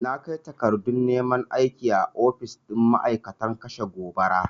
Na kai takardun neman aiki a ofis ɗin ma'aikatan kashe gobara.